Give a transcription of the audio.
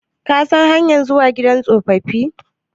Ka san hanyar zuwa gidan tsofaffi?